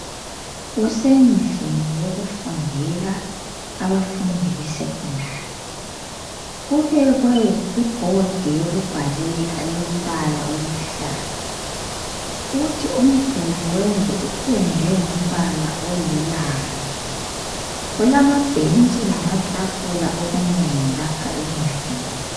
Kusendlini yokufundela abafundi beSecondary kubekwe ibhodi yokubhalela elombala oluhlaza kuthi umduli wendlu upendwe ngombala olulaza kulamabhentshi lamatafula okunengi lapha endlini.